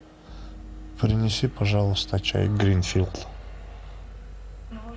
принеси пожалуйста чай гринфилд